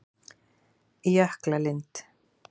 Jöklalind